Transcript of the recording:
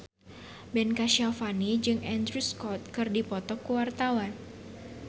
Ben Kasyafani jeung Andrew Scott keur dipoto ku wartawan